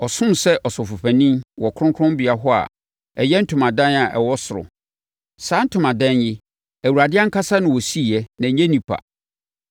Ɔsom sɛ Ɔsɔfopanin wɔ Kronkronbea hɔ a ɛyɛ ntomadan a ɛwɔ ɔsoro. Saa ntomadan yi, Awurade ankasa na ɔsiiɛ na ɛnyɛ onipa.